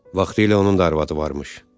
Vaxtilə onun da arvadı varmış.